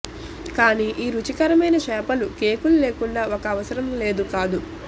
కానీ ఈ రుచికరమైన చేపలు కేకులు లేకుండా ఒక అవసరం లేదు కాదు